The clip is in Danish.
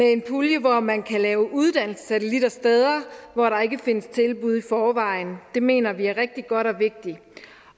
en pulje hvor man kan lave uddannelsessatellitter steder hvor der ikke findes tilbud i forvejen og det mener vi er rigtig godt